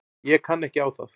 Ég kann ekki á það.